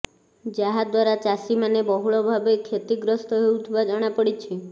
ଯାହା ଦ୍ୱାରା ଚାଷୀ ମାନେ ବହୁଳ ଭାବେ କ୍ଷତିଗ୍ରସ୍ତ ହେଉଥିବା ଜଣାପଡ଼ଛି